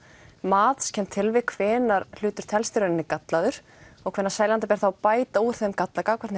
matskennd tilvik hvenær hlutur telst í raun gallaður og hvenær seljanda ber þá að bæta úr þeim galla gagnvart